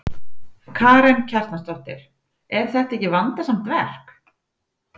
Karen Kjartansdóttir: Er þetta ekki vandasamt verk?